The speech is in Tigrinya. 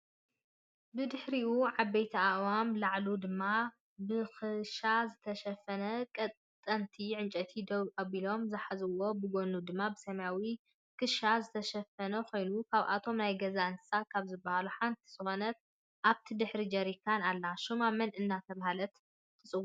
ብድሕሪኡ ዓበይቲ ኣእዋምን ላዕሉ ድማ ብክሻ ዝተሸፈነ ቀጠንቲ ዕንጨይቲ ደው ኣቢሎም ዝሓዝዎ ብጎኑ ድማ ብሰማያዊ ክሻ ዝተሸፈነኮይኑ ካብቶም ናይ ገዛ እንስሳ ካብ ዝብሃሉ ሓንቲ ዝኮነት ኣብቲ ድሕሪ ጀሪካን ኣላ ሹማ መን እናተባህለት ትፅዋዕ?